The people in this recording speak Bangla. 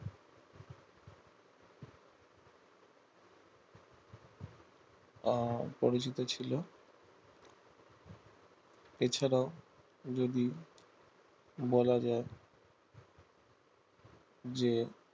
আহ পরিচিত ছিল এছাড়া যদি বলা যায় যে